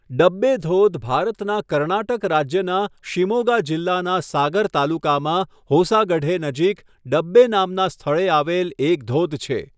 ડબ્બે ધોધ ભારતના કર્ણાટક રાજ્યના શિમોગા જિલ્લાના સાગર તાલુકામાં હોસાગઢે નજીક ડબ્બે નામના સ્થળે આવેલ એક ધોધ છે.